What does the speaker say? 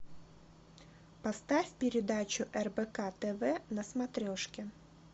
поставь передачу рбк тв на смотрешке